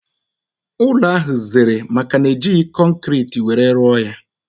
Ụlọ ahụ zèrè maka na ejighi kọnkiriti were rụọ ya